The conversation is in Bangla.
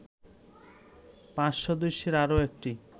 ৫ সদস্যের আরো একটি